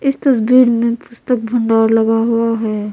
इस तस्वीर में पुस्तक भंडार लगा हुआ है।